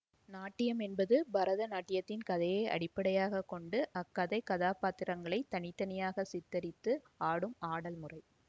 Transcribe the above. நாட்டியம் என்பது பரதநாட்டியத்தில் கதையை அடிப்படையாக கொண்டு அக்கதைக் கதாப்பாத்திரங்களை தனி தனியாக சித்தரித்து ஆடும் ஆடல் முறை